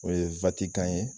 O ye Vatikan ye